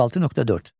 36.4.